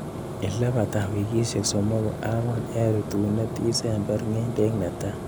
Ilebata wikisiek somoku ak angwan en rutunet isember ng'endek netai.